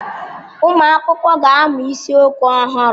Ụmụ akwụkwọ ga-amụ isiokwu ọhụrụ.